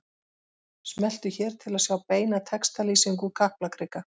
Smelltu hér til að sjá beina textalýsingu úr Kaplakrika